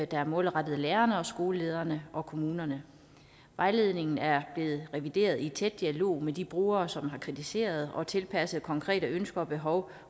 der er målrettet lærerne skolelederne og kommunerne vejledningen er blevet revideret i tæt dialog med de brugere som har kritiseret og tilpasset konkrete ønsker og behov